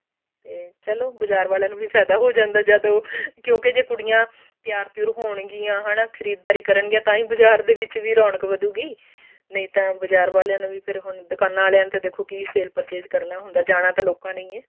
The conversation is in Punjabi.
ਚਲੋ ਬਾਜ਼ਾਰ ਵਾਲਿਆਂ ਨੂੰ ਵੀ ਫਾਇਦਾ ਹੋ ਜਾਂਦਾ ਜਦ ਉਹ ਕਿਉਂਕਿ ਜੇ ਕੁੜੀਆਂ ਤਿਆਰ ਤਿਉਰ ਹੋਣਗੀਆਂ ਹਨਾ ਖਰੀਦ ਦਾਰੀ ਕਰਨਗੀਆਂ ਤਾਂਹੀ ਬਾਜ਼ਾਰ ਦੇ ਵਿੱਚ ਵੀ ਰੋਣਕ ਵਧੁਗੀ ਨਹੀ ਤਾਂ ਬਾਜ਼ਾਰ ਵਾਲਿਆਂ ਨੂੰ ਵੀ ਫ਼ੇਰ ਹੁਣ ਦੁਕਾਨਾ ਵਾਲੀਆਂ ਨੂੰ sale purchase ਕਰਨਾ ਹੁੰਦਾ ਜਾਣਾ ਤਾਂ ਲੋਕਾਂ ਨੇ ਹੀ ਹੈ